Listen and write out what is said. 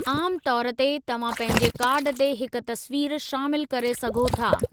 आमु तौर ते, तव्हां पंहिंजे कार्ड ते हिक तस्वीर शामिलु करे सघो था।